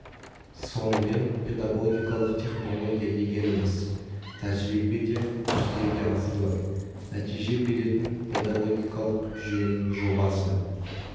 сонымен педагогикалық технология дегеніміз тәжірибеде жүзеге асырылып нәтиже беретін педагогикалық жүйенің жобасы